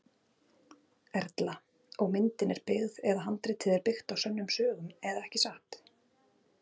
Erla: Og myndin er byggð eða handritið er byggt á sönnum sögum eða ekki satt?